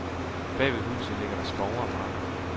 Bagved huset ligger der skove og marker.